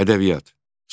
Ədəbiyyat.